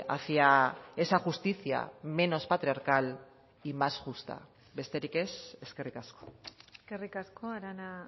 hacia esa justicia menos patriarcal y más justa besterik ez eskerrik asko eskerrik asko arana